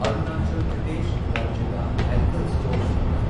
ꯑꯔꯨꯅꯥꯆꯜ ꯄ꯭ꯔꯗꯦꯁ ꯔꯥꯖ꯭ꯌꯗ ꯃꯦꯗꯤꯀꯦꯜ ꯁ꯭ꯇꯣꯔꯒ ꯂꯩꯕ꯭ꯔꯥ?